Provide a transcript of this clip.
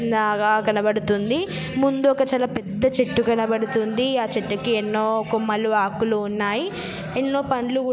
లాగా కనబడుతుంది. ముందు ఒక చాలా పెద్ద చెట్టు కనబడుతుంది. ఆ చెట్టు కి ఎన్నో కొమ్మలు ఆకులు ఉన్నాయి ఎన్నో పండ్లు గూడా--